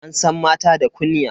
An san mata da kunya.